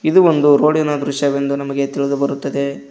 ಇದು ಒಂದು ರೋಡಿನ ದೃಶ್ಯವೆಂದು ನಮಗೆ ತಿಳಿಬರುತ್ತದೆ.